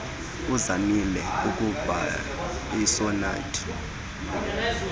uzamile ukubhaia iisonethi